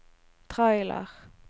trailer